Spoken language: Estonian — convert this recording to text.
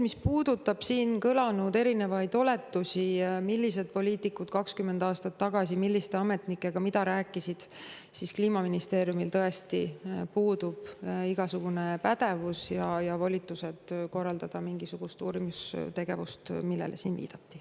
Mis puudutab siin kõlanud erinevaid oletusi, millised poliitikud 20 aastat tagasi milliste ametnikega mida rääkisid, siis Kliimaministeeriumil tõesti puuduvad nii pädevus kui ka volitused korraldada mingisugust uurimistegevust, millele siin viidati.